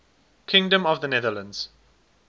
kingdom of the netherlands